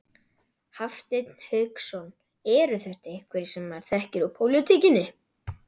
Hafsteinn Hauksson: Eru þetta einhverjir sem maður þekkir úr pólitíkinni?